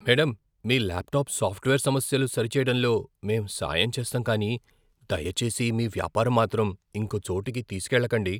Madam, మీ laptop software సమస్యలు సరిచేయడంలో మేం సాయం చేస్తాం కానీ దయచేసి మీ వ్యాపారం మాత్రం ఇంకో చోటికి తీసుకెళ్లకండి.